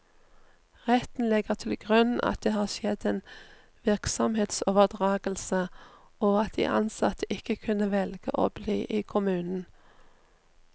Retten legger til grunn at det har skjedd en virksomhetsoverdragelse, og at de ansatte ikke kunne velge å bli i kommunen.